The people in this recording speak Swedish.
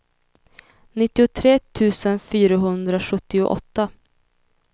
nittiotre tusen fyrahundrasjuttioåtta